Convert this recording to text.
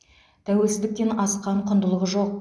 тәуелсіздіктен асқан құндылық жоқ